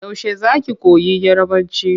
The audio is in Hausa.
Yaushe za ki koyi Yarabanci?